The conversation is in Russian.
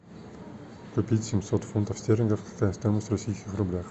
купить семьсот фунтов стерлингов какая стоимость в российских рублях